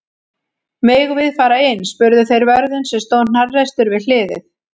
Megum við fara inn? spurðu þeir vörðinn sem stóð hnarreistur við hliðið.